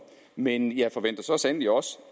men jeg forventer så sandelig også